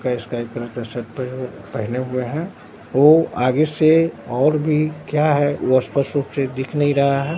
उसका sky colour का suit पेह पहने हुए हैं वो आगे से और भी क्या है वो स्पष्ट रूप से दिख नहीं रहा है।